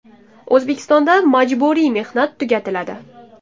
O‘zbekistonda majburiy mehnat tugatiladi.